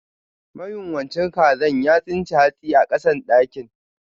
Mayunwacin kazan ya tsince hatsi a kasan dakin.